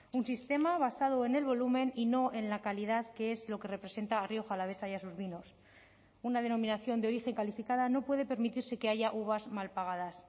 un sistema basado en el volumen y no en la calidad que es lo que representa a rioja alavesa y a sus vinos una denominación de origen calificada no puede permitirse que haya uvas mal pagadas